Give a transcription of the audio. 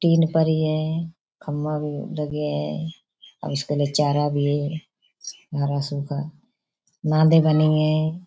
Tin परी है। खम्मा भी लगे हैं अ उसके लिए चारा भी है हरा सूखा। नादें बनी हैं।